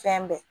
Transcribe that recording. Fɛn bɛɛ